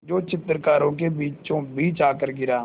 जो चित्रकारों के बीचोंबीच आकर गिरा